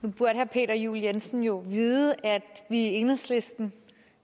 peter juel jensen jo vide at vi i enhedslisten